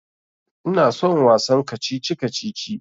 Ina son wasan kacici-kacici.